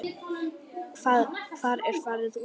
Hvar er farið út í hann?